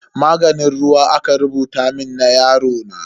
Maganin ruwa aka rubuta mun na yarona.